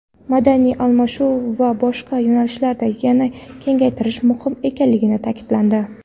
madaniy almashinuv va boshqa yo‘nalishlarda yanada kengaytirish muhim ekani ta’kidlandi.